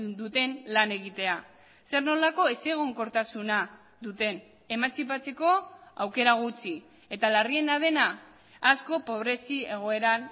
duten lan egitea zer nolako ezegonkortasuna duten emantzipatzeko aukera gutxi eta larriena dena asko pobrezi egoeran